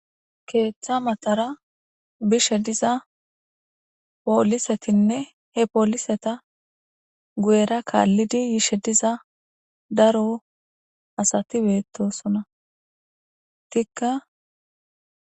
Keeththa maxara bishe diza poolisetinne he pooliseta gu7era kaallidi yishe diza daro asati beettosona tikka.